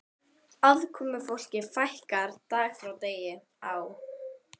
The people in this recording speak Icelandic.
Aðkomufólki fækkaði dag frá degi á